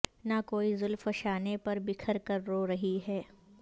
نہ کوئی زلف شانے پر بکھر کر رو رہی ہے